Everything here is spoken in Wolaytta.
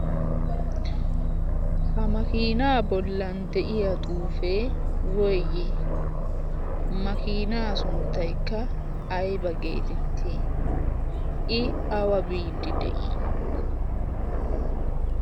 ha makiinaa bollan de7iya xuufee woyyigi? makiinaa sunttaikka aiba geetett?i i awa biidi de7ii?